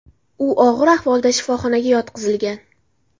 U og‘ir ahvolda shifoxonaga yotqizilgan.